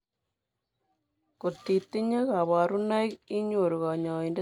Kotitinye kaborunoik inyoru kanyoindet ab konyeek